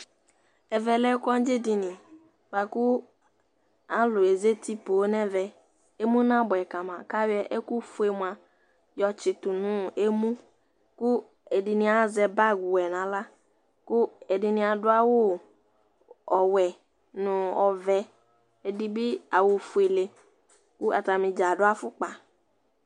Ɛvɛ lɛ kondzi dini bua kʋ alʋ azati pooo n'ɛvɛ Emu n'abʋɛ kama k'ayɔ ɛkʋ fue mua yɔ tsitʋ n'emu, kʋ ɛdini azɛ bagi wɛ n'aɣla, kʋ ɛdini adʋ awʋ ɔwɛ nʋ ɔvɛ, ɛdini bi awʋ fuele kʋ atani dzaa adʋ afʋkpa